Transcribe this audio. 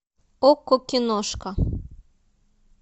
окко киношка